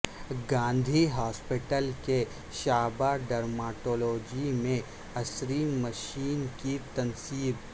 Gandhi hospital کے شعبہ dermatology میں عصری مشین کی تنصیب